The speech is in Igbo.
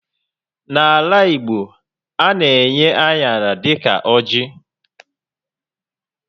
N'ala Igbo, a na-enye aṅara dịka ọjị́